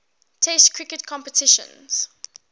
test cricket competitions